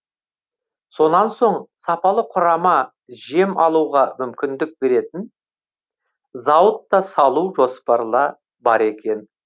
сонан соң сапалы құрама жем алуға мүмкіндік беретін зауыт та салу жоспарла бар екен